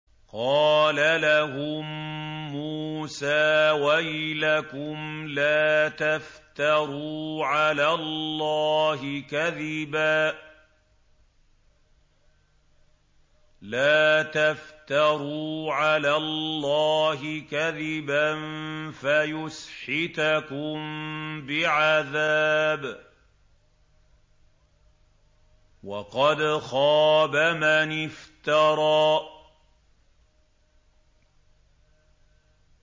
قَالَ لَهُم مُّوسَىٰ وَيْلَكُمْ لَا تَفْتَرُوا عَلَى اللَّهِ كَذِبًا فَيُسْحِتَكُم بِعَذَابٍ ۖ وَقَدْ خَابَ مَنِ افْتَرَىٰ